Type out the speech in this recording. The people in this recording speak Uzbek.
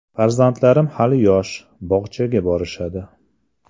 Farzandlarim hali yosh, bog‘chaga borishadi.